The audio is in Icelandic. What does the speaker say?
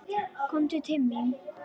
Komdu til mín!